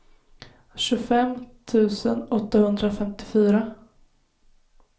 tjugofem tusen åttahundrafemtiofyra